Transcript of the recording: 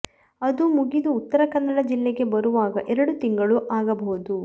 ಅದು ಮುಗಿದು ಉತ್ತರ ಕನ್ನಡ ಜಿಲ್ಲೆಗೆ ಬರುವಾಗ ಎರಡು ತಿಂಗಳು ಆಗಬಹುದು